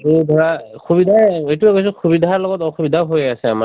আৰু ধৰা সুবিধায়ে এইটো সুবিধাৰ লগত অসুবিধাও হৈ আছে আমাৰ